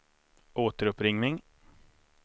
återuppring